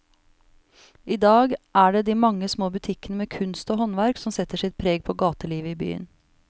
I dag er det de mange små butikkene med kunst og håndverk som setter sitt preg på gatelivet i byen.